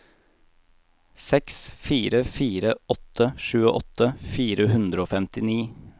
seks fire fire åtte tjueåtte fire hundre og femtini